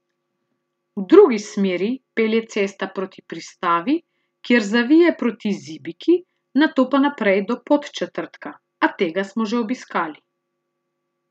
V drugi smeri pelje cesta proti Pristavi, kjer zavije proti Zibiki, nato pa naprej do Podčetrtka, a tega smo že obiskali.